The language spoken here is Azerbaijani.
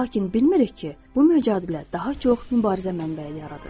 Lakin bilmirik ki, bu mücadilə daha çox mübarizə mənbəyi yaradır.